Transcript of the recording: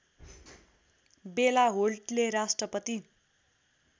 बेला होल्टले राष्ट्रपति